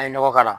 An ye nɔgɔ k'a la